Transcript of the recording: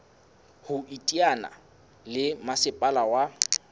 ho iteanya le masepala wa